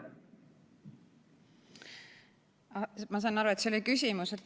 Ma sain aru, et see oli küsimus.